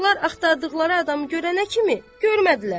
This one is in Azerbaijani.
uşaqlar axtardıqları adamı görənə kimi görmədilər.